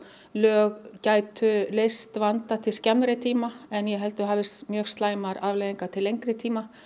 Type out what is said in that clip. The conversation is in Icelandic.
lög gætu leyst vanda til skemmri tíma en ég held að það hefðu mjög slæmar afleiðingar til lengri tíma